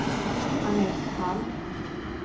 Annette Hall